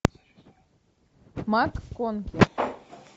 макконки